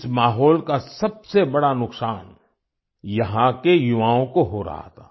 इस माहौल का सबसे बड़ा नुकसान यहाँ के युवाओं को हो रहा था